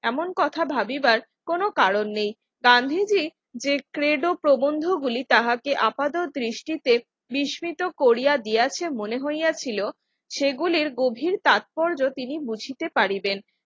এমন কথা ভাবিবার কোন কারণ নেই গান্ধীজী যে ক্রেদ ও প্রবন্ধ গুলি তাহাকে আপাদের দৃষ্টিতে বিস্মিত করিয়া দিয়াছে মনে হইয়াছিল সেগুলির গভীর তাৎপর্য তিনি বুঝিতে পারিবেন